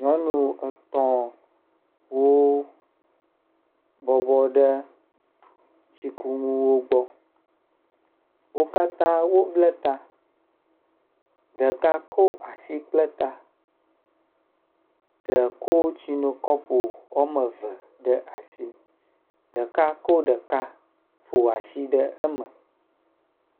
Nyɔnu etɔ̃wo bɔbɔ ɖe tsikunuwo gbɔ, wo katã woble ta, ɖeka ko asi kple ta, ɖe ko tsinokɔpo woame eve, ɖeka ko ɖeka ƒo asi ɖe me.